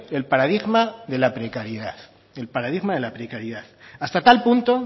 el paradigma de la precariedad hasta tal punto